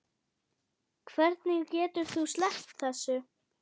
Hvernig getur þú sleppt þessu?